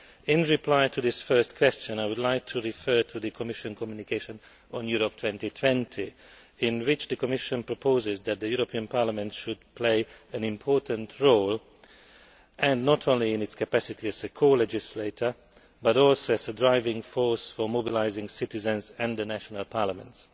In reply to this first question, I would like to refer to the Commission communication on Europe 2020, in which the Commission proposes that the European Parliament should play an important role, not only in its capacity as a colegislator, but also as a driving force for mobilising citizens and the national parliaments.